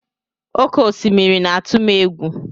Oké osimiri na-atụ m egwu.